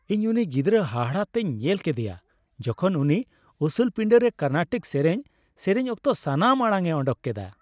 ᱤᱧ ᱩᱱᱤ ᱜᱤᱫᱨᱟᱹ ᱦᱟᱦᱟᱲᱟ ᱛᱮᱧ ᱧᱮᱞ ᱠᱮᱫᱮᱭᱟ ᱡᱚᱠᱷᱚᱱ ᱩᱱᱤ ᱩᱥᱩᱞ ᱯᱤᱸᱰᱟᱹᱨᱮ ᱠᱚᱨᱱᱟᱴᱤᱠ ᱥᱮᱨᱮᱧ ᱥᱮᱨᱮᱧ ᱚᱠᱛᱚ ᱥᱟᱱᱟᱢ ᱟᱲᱟᱝᱼᱮ ᱳᱰᱳᱠ ᱠᱮᱫᱟ ᱾